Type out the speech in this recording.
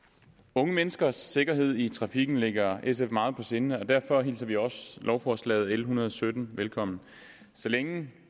unge menneskers sikkerhed i trafikken ligger sf meget på sinde og derfor hilser vi også lovforslaget l en hundrede og sytten velkommen så længe